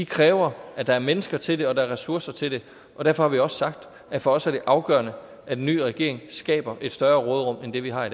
kræver at der er mennesker til det og at der er ressourcer til det og derfor har vi også sagt at for os er det afgørende at en ny regering skaber et større råderum end det vi har